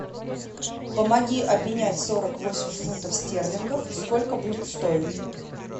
помоги обменять сорок восемь фунтов стерлингов сколько будет стоить